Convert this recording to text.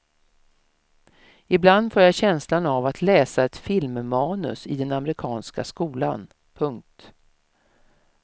Ibland får jag känslan av att läsa ett filmmanus i den amerikanska skolan. punkt